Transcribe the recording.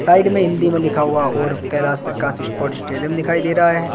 Side में हिंदी में लिखा हुआ और कैलाश प्रकाश स्पोर्ट्स स्टेडियम दिखाई दे रहा है।